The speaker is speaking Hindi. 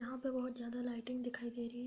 यहां पर बहुत जगह लाइटिंग दिखाई दे रही --